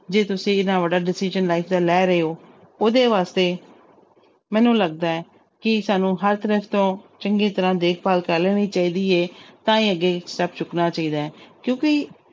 ਜੇ ਤੁਸੀਂ ਇੰਨਾ ਵੱਡਾ decision life ਦਾ ਲੈ ਰਹੇ ਹੋ ਉਹਦੇ ਵਾਸਤੇ ਮੈਨੂੰ ਲੱਗਦਾ ਹੈ ਕਿ ਸਾਨੂੰ ਹਰ ਤਰਫ਼ ਤੋਂ ਚੰਗੀ ਤਰ੍ਹਾਂ ਦੇਖਭਾਲ ਕਰ ਲੈਣੀ ਚਾਹੀਦੀ ਹੈ ਤਾਂ ਹੀ ਅੱਗੇ step ਚੁੱਕਣਾ ਚਾਹੀਦਾ ਹੈ ਕਿਉਂਕਿ